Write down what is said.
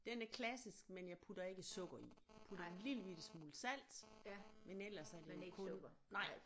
Den er klassisk men jeg putter ikke sukker i jeg putter en lille bitte smule salt men ellers så er det kun nej